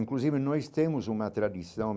Inclusive, nós temos uma tradição.